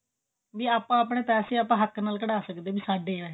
ਵੀ ਆਪਾਂ ਆਪਨੇ ਪੈਸੇ ਹੱਕ ਨਾਲ ਕਢਾ ਸਕਦੇ ਹਾਂ ਵੀ ਸਾਡੇ ਆ ਇਹ